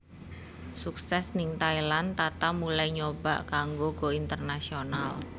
Sukses ning Thailand Tata mulai nyoba kanggo go international